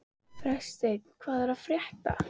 Freysteinn, hvað er að frétta?